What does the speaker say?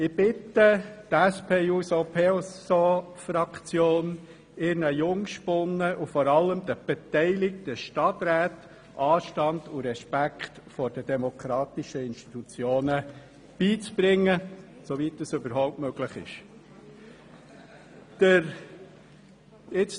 Ich bitte die SP-JUSO-PSAFraktion ihren Jungspunden und vor allem den beteiligten Stadträten Anstand und Respekt vor den demokratischen Institutionen beizubringen, soweit das überhaupt möglich ist.